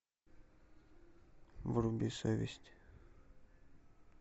вруби совесть